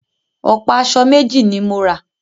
Ọ̀pá aṣọ méjì ni mo rà